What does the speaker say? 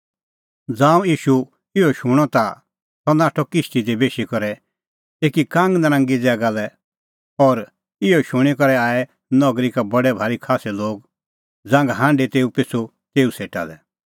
ज़ांऊं ईशू इहअ शूणअ ता सह नाठअ किश्ती दी बेशी करै एकी कांगनरांगी ज़ैगा लै और इहअ शूणीं करै आऐ नगरी का बडै भारी खास्सै लोग ज़ांघा हांढी तेऊ पिछ़ू तेऊ सेटा लै